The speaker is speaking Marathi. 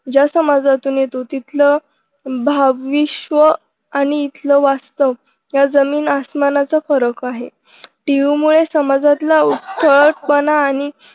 ज्या समाजातून येतो तिथलं भविष्यव आणि इथलं वास्तव यात जमीन अस्मानाचा फरक आहे tv मुले समाजातला उद्धटपणा आणि